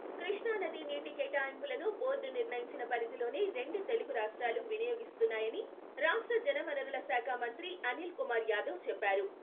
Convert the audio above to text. కృష్ణా నది నీటి కేటాయింపులను బోర్డు నిర్ణయించిన పరిధిలోనే రెండు తెలుగు రాష్ట్రాలు వినియోగిస్తున్నాయని రాష్ట్ర జలవనరుల శాఖ మంత్రి అనిల్ కుమార్ యాదవ్ చెప్పారు.